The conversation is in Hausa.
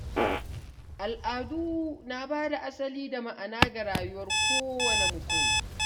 Al’adu na bada asali da ma’ana ga rayuwar kowanne mutum.